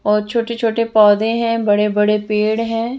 और छोटे छोटे पोधे हैं बड़े बड़े पेड़ हैं।